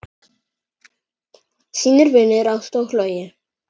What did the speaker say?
Þínir vinir Ásta og Logi.